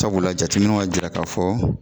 Sabula jateminɛw a jira k'a fɔ